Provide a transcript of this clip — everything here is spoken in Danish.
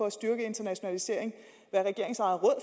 at styrke internationalisering